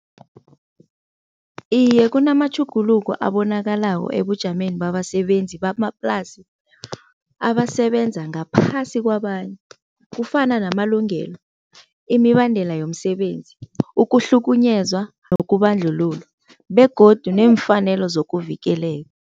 Iye kunamatjhuguluko abonakalako ebujameni babasebenzi bamaplasi abasebenza ngaphasi kwabanye. Kufana namalungelo, imibandela yomsebenzi, ukuhlukunyezwa nokubandlululwa begodu nemfanelo zokuvikeleka.